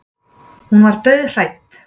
Hún var dauðhrædd.